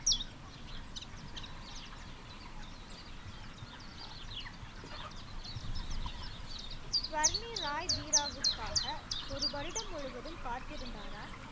சுவர்னி ராய் பீராவுக்காக ஒரு வருடம் முழுவதும் காத்திருந்தாரா